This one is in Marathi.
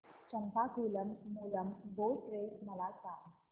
चंपाकुलम मूलम बोट रेस मला सांग